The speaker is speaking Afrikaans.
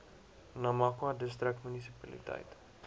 namakwa distrik munisipaliteit